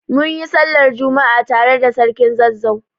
Munyi sallar juma'a tare da sarkin Zazzau